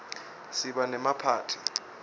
siba nemaphathi